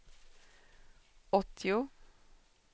åttio